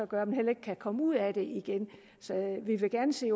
gør at man heller ikke kan komme ud af det igen vi vil gerne se